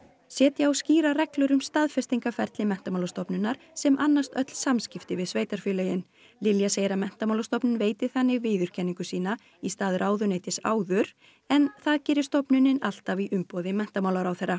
setja á skýrar reglur um staðfestingarferli Menntamálastofnunar sem annast öll samskipti við sveitarfélögin Lilja segir að Menntamálastofnun veiti þannig viðurkenningu sína í stað ráðuneytis áður en það geri stofnunin alltaf í umboði menntamálaráðherra